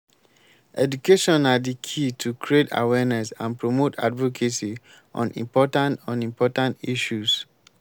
education na di key to create awareness and promote advocacy on important on important issues.